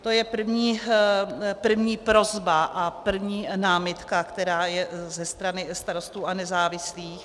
To je první prosba a první námitka, která je ze strany Starostů a nezávislých.